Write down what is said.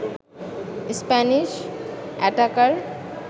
Spanish attacker